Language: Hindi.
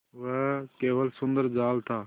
वह केवल सुंदर जाल था